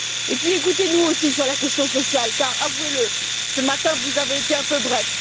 Puis, écoutez nous aussi sur la question sociale car, avouez le, ce matin vous avez été un peu bref.